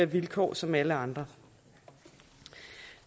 vilkår som alle andre